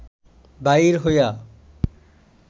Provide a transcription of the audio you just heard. বাহির হইয়া